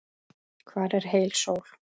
Hvar er heil sól?